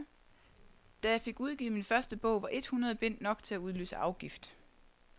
Da jeg fik udgivet min første bog, var et hundrede bind nok til at udløse afgift.